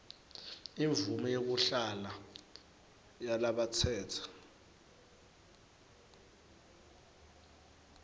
imvumo yekuhlala yalabatsetse